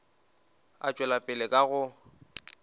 a tšwela pele ka go